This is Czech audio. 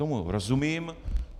Tomu rozumím.